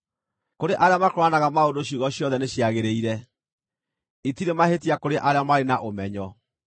Kũrĩ arĩa makũũranaga maũndũ ciugo ciothe nĩciagĩrĩire; itirĩ mahĩtia kũrĩ arĩa marĩ na ũmenyo.